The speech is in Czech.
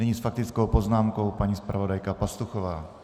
Nyní s faktickou poznámkou paní zpravodajka Pastuchová.